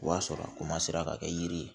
O b'a sɔrɔ o ka kɛ yiri ye